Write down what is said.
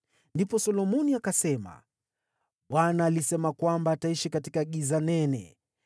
Ndipo Solomoni akasema, “ Bwana alisema kwamba ataishi katika giza nene;